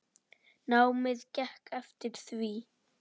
Námið gekk eftir því.